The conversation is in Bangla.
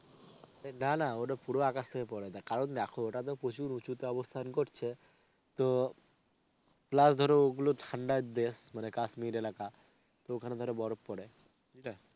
অরে না না ওটা পুরো আকাশ থেকেই পরে কারণ দেখো ওটাতো প্রচুর উঁচুতে অবস্থান করছে তো plus ধরো ওগুলো ঠান্ডার দেশ মানে কাশ্মীর এলাকা তো ওখানে ধরো বরফ পরে. বুঝলে?